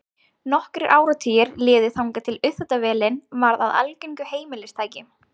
Nokkrir áratugir liðu þangað til uppþvottavélin varð að algengu heimilistæki.